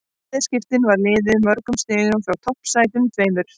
Í bæði skiptin var liðið mörgum stigum frá toppsætunum tveimur.